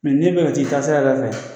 n'i bɛ fɛ ka t'i taasira yɛrɛ fɛ